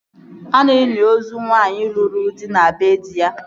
A na-eli ozu nwaanyị lụrụ di na bee dị ya